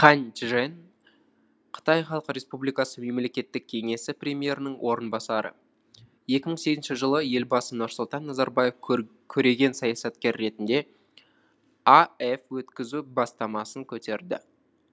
хань чжэн қытай халық республикасының мемлекеттік кеңесі премьерінің орынбасары екі мың сегізінші жылы елбасы нұрсұлтан назарбаев көреген саясаткер ретінде аэф өткізу бастамасын көтерді